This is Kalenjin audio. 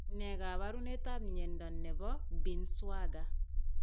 Ne kaabarunetap myenta ne po Binswanger?